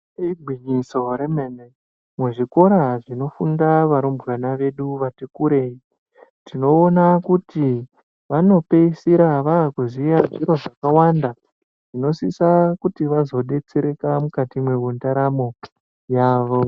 Igwinyiso remene muzvikora zvinofunda varumbwana vedu vati kurei tinoona kuti vanopeisira vaakuziva zviro zvakawanda zvinosisa kuti vazodetsereka mukati mwendaramo yavo.